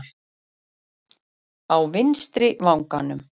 Á vinstri vanganum!